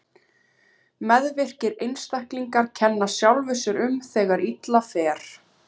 Meðvirkir einstaklingar kenna sjálfum sér um þegar illa fer.